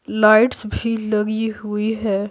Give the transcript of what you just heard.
Lights भी लगी हुई है।